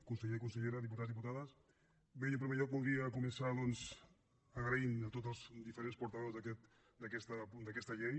conseller i consellera diputats diputades bé jo en primer lloc voldria començar doncs donant les gràcies a tots els diferents portaveus d’aquesta llei